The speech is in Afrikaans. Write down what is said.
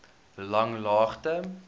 langlaagte